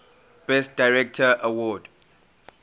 best director award